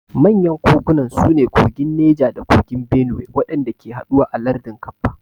Manyan kogunan su ne kogin Neja da kogin Benuwai waɗanda ke haɗuwa a lardin Kabba.